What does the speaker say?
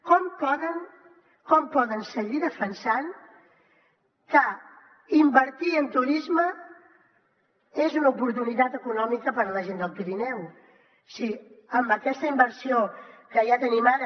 com poden seguir defensant que invertir en turisme és una oportunitat econòmica per a la gent del pirineu si amb aquesta inversió que ja tenim ara